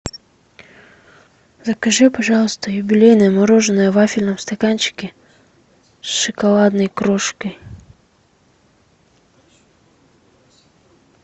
закажи пожалуйста юбилейное мороженое в вафельном стаканчике с шоколадной крошкой